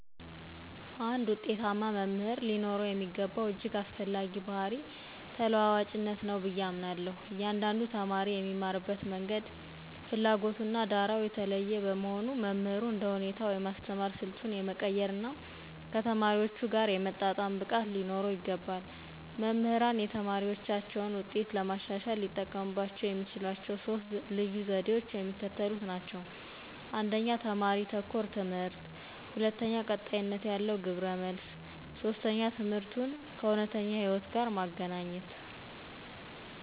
አንድ ውጤታማ መምህር ሊኖረው የሚገባው እጅግ አስፈላጊ ባሕርይ ተለዋዋጭነት ነው ብዬ አምናለሁ። እያንዳንዱ ተማሪ የሚማርበት መንገድ፣ ፍላጎቱና ዳራው የተለየ በመሆኑ፣ መምህሩ እንደየሁኔታው የማስተማር ስልቱን የመቀየርና ከተማሪዎቹ ጋር የመጣጣም ብቃት ሊኖረው ይገባል። መምህራን የተማሪዎቻቸውን ውጤት ለማሻሻል ሊጠቀሙባቸው የሚችሏቸው ሦስት ልዩ ዘዴዎች የሚከተሉት ናቸው፦ 1፦ ተማሪ-ተኮር ትምህርት 2፦ ቀጣይነት ያለው ግብረ-መልስ 3፦ ትምህርቱን ከእውነተኛ ሕይወት ጋር ማገናኘት